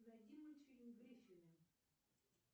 найди мультфильм гриффины